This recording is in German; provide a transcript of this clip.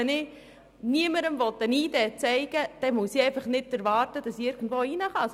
Wenn ich niemandem eine ID zeigen will, muss ich einfach nicht erwarten, dass ich irgendwo hingehen kann.